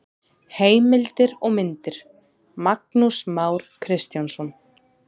Heimildir og myndir: Magnús Már Kristjánsson.